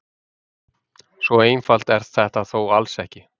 svo einfalt er þetta þó alls ekki